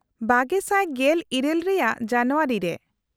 -᱒᱐᱑᱘ ᱨᱮᱭᱟᱜ ᱡᱟᱱᱩᱭᱟᱨᱤ ᱨᱮ ᱾